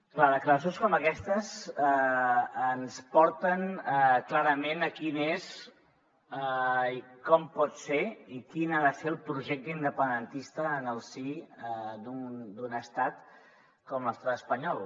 clar declaracions com aquestes ens porten clarament a quin és i com pot ser i quin ha de ser el projecte independentista en el si d’un estat com l’estat espanyol